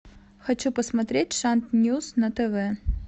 хочу посмотреть шант ньюс на тв